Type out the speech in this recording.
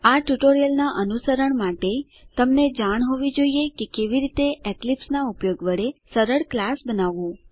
આ ટ્યુટોરીયલનાં અનુસરણ માટે તમને જાણ હોવી જોઈએ કે કેવી રીતે એક્લીપ્સ નાં ઉપયોગ વડે સરળ ક્લાસ બનાવવું